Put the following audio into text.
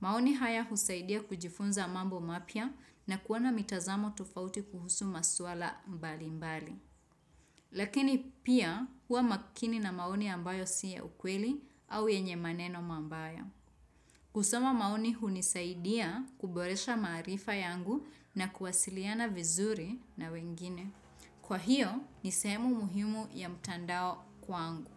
Maoni haya husaidia kujifunza mambo mapya na kuona mitazamo tofauti kuhusu maswala mbali mbali. Lakini pia kuwa makini na maoni ambayo siya ukweli au yenye maneno mabaya. Kusoma maoni hunisaidia kuboresha maarifa yangu na kuwasiliana vizuri na wengine. Kwa hiyo ni sehemu muhimu ya mtandao kwangu.